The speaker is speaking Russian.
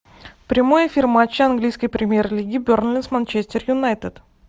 прямой эфир матча английской премьер лиги бернли с манчестер юнайтед